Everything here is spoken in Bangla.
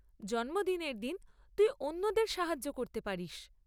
জন্মদিনের দিন তুই অন্যদের সাহায্য করতে পারিস।